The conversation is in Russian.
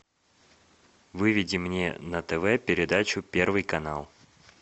выведи мне на тв передачу первый канал